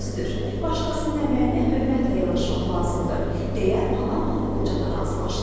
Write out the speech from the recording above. Düzdür, başqasının əməyinə hörmətlə yanaşmaq lazımdır, deyə Panamalı qoca da razılaşdı.